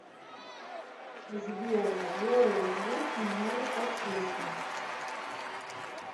сбер сделай звук немного потише